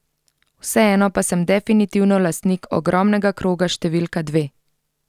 Vseeno pa sem definitivno lastnik ogromnega kroga številka dve!